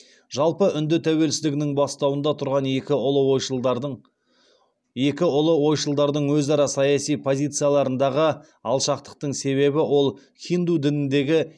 жалпы үнді тәуелсіздігінің бастауында тұрған екі ұлы ойшылдардың өзара саяси позицияларындағы алшақтықтың себебі ол хинду дініндегі